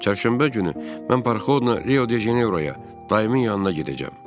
Çərşənbə günü mən Parxodla Rio de Jeneroya, daimi yanına gedəcəm.